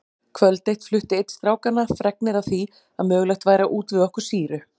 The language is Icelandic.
Kvöld eitt flutti einn strákanna fregnir af því að mögulegt væri að útvega okkur sýru.